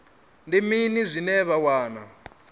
ndi mini zwine vha wana